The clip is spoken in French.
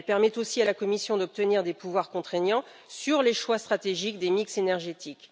Elle permet aussi à la Commission d'obtenir des pouvoirs contraignants sur les choix stratégiques des mix énergétiques.